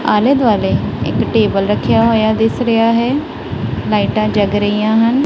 ਆਲੇ ਦੁਆਲੇ ਇੱਕ ਟੇਬਲ ਰੱਖਿਆ ਹੋਇਆ ਦਿੱਸ ਰਿਹਾ ਹੈ ਲਾਈਟਾਂ ਜੱਗ ਰਹੀਆਂ ਹਨ।